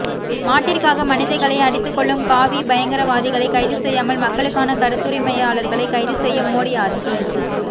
மாட்டிற்க்காக மனிதர்களை அடித்து கொல்லும் காவிபயங்கரவாதிகளை கைது செய்யாமல் மக்களுக்கான கருத்துரிமையாளர்களை கைது செய்யும் மோடி ஆட்சி